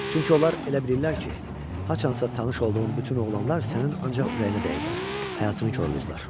Çünki onlar elə bilirlər ki, haçansa tanış olduğun bütün oğlanlar sənin ancaq ürəyinə dəyiblər, həyatını korlayıblar.